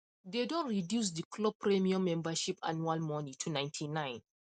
dey don reduce the club premium membership annual money to 99